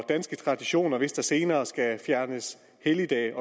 danske traditioner hvis der senere skal fjernes helligdage